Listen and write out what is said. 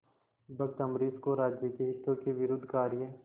भक्त अम्बरीश को राज्य के हितों के विरुद्ध कार्य